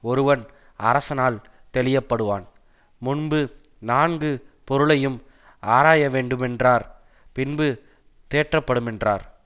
ஒருவன் அரசனால் தெளிய படுவான் முன்பு நான்கு பொருளையும் ஆராயவேண்டுமென்றார் பின்பு தேற்றப்படுமென்றார்